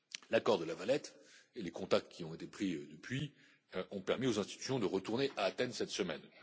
L'accord de La Valette et les contacts qui ont été pris depuis ont permis aux institutions de retourner à Athènes cette semaine.